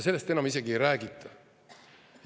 Sellest enam isegi ei räägita.